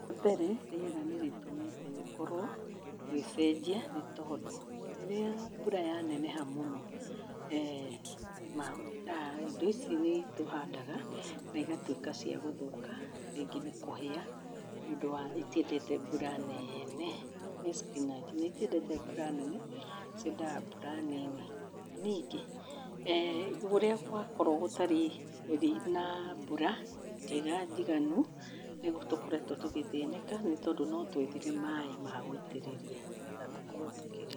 Wa mbere, rĩera nĩrĩtũmĩte gũkorwo gũgĩcenjia, nĩ tondũ rĩrĩa mbura yaneneha mũno eh indo ici nĩtũhandaga, na igatuĩka cia gũthũka, rĩngĩ nĩ kũhĩa nĩũndũ wa itiendete mbura neene. Nĩ spinach, na itiendete mbura nene, ciendaga mbura nini. Ningĩ eh ũrĩa gwakorwo gũtarĩ rĩ na mbura njega njiganu, nĩguo tũkoretwo tũgĩthĩnĩka. Nĩ tondũ notwethire maĩ ma gũitĩrĩrĩa nĩgetha tũkorwo tũkĩrĩma.